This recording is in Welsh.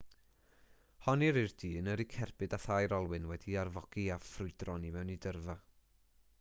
honnir i'r dyn yrru cerbyd â thair olwyn wedi'i arfogi a ffrwydron i mewn i dyrfa